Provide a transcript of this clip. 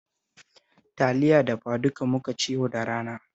Taliya dafaduka muka ci yau da rana